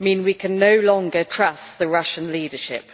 mean we can no longer trust the Russian leadership.